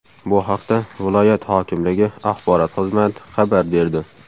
Bu haqda viloyat hokimligi axborot xizmati xabar berdi.